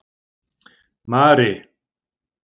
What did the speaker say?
Mari